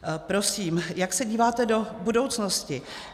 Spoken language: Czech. Prosím, jak se díváte do budoucnosti?